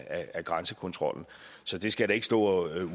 af grænsekontrollen så det skal jeg da ikke stå og